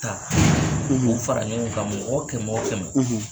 Ka u fara ɲɔgɔn kan mɔgɔ kɛmɛ o kɛmɛ.